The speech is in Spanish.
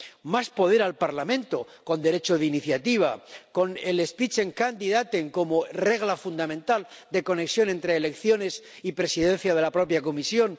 más poder al Parlamento, con derecho de iniciativa, con los Spitzenkandidaten como regla fundamental de conexión entre elecciones y presidencia de la propia Comisión